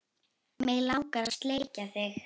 Mig langar að sleikja þig.